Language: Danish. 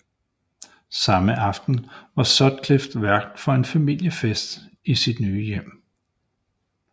Samme aften var Sutcliffe vært for en familiefest i sit nye hjem